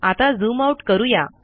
आता zoom out करू या